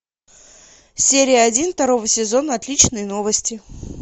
серия один второго сезона отличные новости